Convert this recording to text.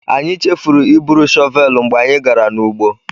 Anyị chefuru iburu shọvelụ mgbe anyị gara n'ugbo.